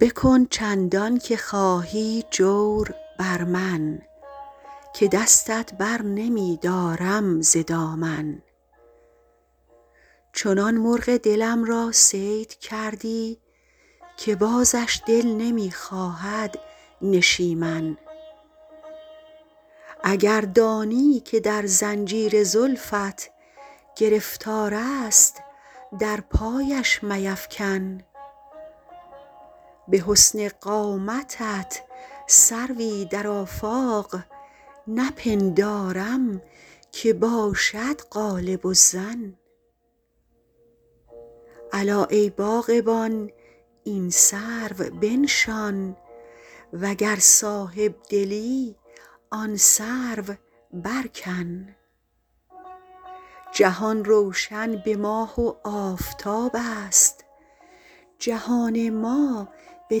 بکن چندان که خواهی جور بر من که دستت بر نمی دارم ز دامن چنان مرغ دلم را صید کردی که بازش دل نمی خواهد نشیمن اگر دانی که در زنجیر زلفت گرفتار است در پایش میفکن به حسن قامتت سروی در آفاق نپندارم که باشد غالب الظن الا ای باغبان این سرو بنشان و گر صاحب دلی آن سرو برکن جهان روشن به ماه و آفتاب است جهان ما به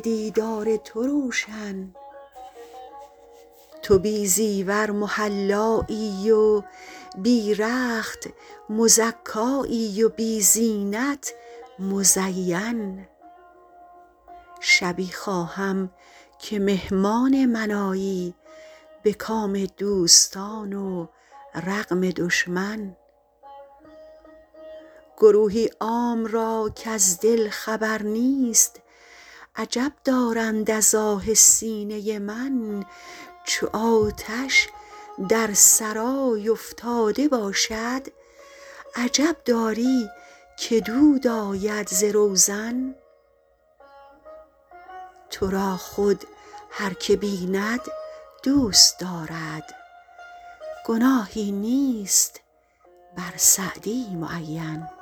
دیدار تو روشن تو بی زیور محلایی و بی رخت مزکایی و بی زینت مزین شبی خواهم که مهمان من آیی به کام دوستان و رغم دشمن گروهی عام را کز دل خبر نیست عجب دارند از آه سینه من چو آتش در سرای افتاده باشد عجب داری که دود آید ز روزن تو را خود هر که بیند دوست دارد گناهی نیست بر سعدی معین